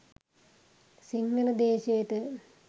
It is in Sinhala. සිංහල දේශයට